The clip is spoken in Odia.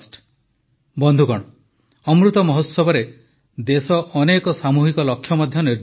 ବନ୍ଧୁଗଣ ଅମୃତମହୋତ୍ସବରେ ଦେଶ ଅନେକ ସାମୂହିକ ଲକ୍ଷ୍ୟ ମଧ୍ୟ ନିର୍ଦ୍ଧାରଣ କରିଛି